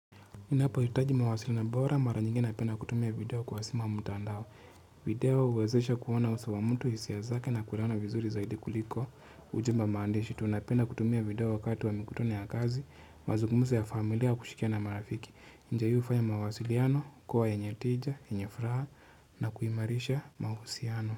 Ninapohitaji mawasiliano bora mara nyingi napenda kutumia video kwa sima ama mtandao. Video huwezesha kuona uso wa mtu hisia zake na kulala vizuri zaidi kuliko. Ujumba maandishi, tunapenda kutumia video wakati wa mikutani ya kazi, mazungumzo ya familia wa kushikia na marafiki. Njia hii hufanya mawasiliano, kuwa yenye tija, yenye furaha na kuimarisha mahusiano.